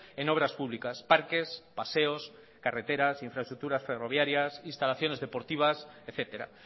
en obras publicas parques paseos carreteras infraestructuras ferroviarias instalaciones deportivas etcétera